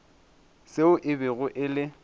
seo e bego e le